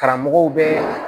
Karamɔgɔw bɛ